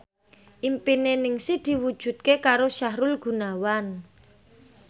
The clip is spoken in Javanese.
impine Ningsih diwujudke karo Sahrul Gunawan